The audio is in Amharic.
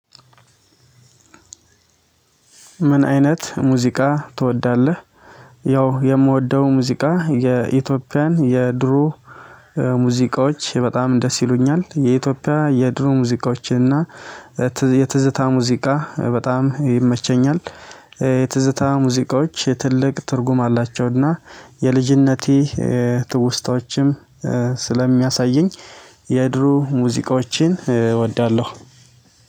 "ምን አይነት ሙዚቃ ትወዳለህ?" ያው የምወደው ሙዚቃ የኢትዮጵያን የድሮ ሙዚቃዎች በጣም ደስ ይሉኛል። የኢትዮጵያን የድሮ ሙዚቃዎችን እና የትዝታ ሙዚቃ በጣም ይመቸኛል። የትዝታ ሙዚቃዎች ትልቅ ትርጉም አላቸው እና የልጅነቴ ትውስታዎችም ስለሚያሳየኝ የድሮ ሙዚቃዎችን እወዳለሁ።